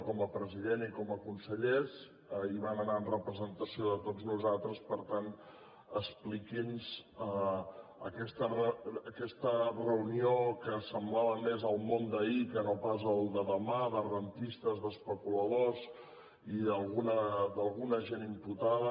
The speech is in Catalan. com a president i com a consellers hi van anar en representació de tots nosaltres per tant expliqui’ns aquesta reunió que semblava més el món d’ahir que no pas el de demà de rendistes d’especuladors i d’alguna gent imputada